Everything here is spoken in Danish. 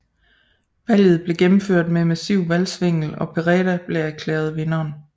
Valget blev gennemført med massiv valgsvindel og Pereda blev erklæret vinderen